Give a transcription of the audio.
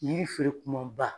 Yiri feere kumanba.